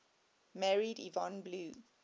married yvonne blue